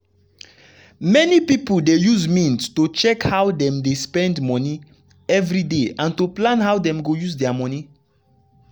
many people dey use mint to check how dem dey spend monie everyday and to plan how them go use dia monie